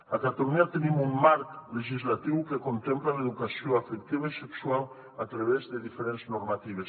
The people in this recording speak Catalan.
a catalunya tenim un marc legislatiu que contempla l’educació afectiva i sexual a través de diferents normatives